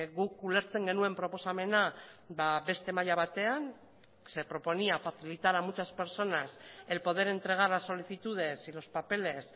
guk ulertzen genuen proposamena beste maila batean se proponía facilitar a muchas personas el poder entregar las solicitudes y los papeles